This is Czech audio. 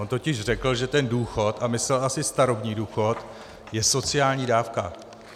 On totiž řekl, že ten důchod - a myslel asi starobní důchod - je sociální dávka.